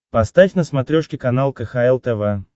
поставь на смотрешке канал кхл тв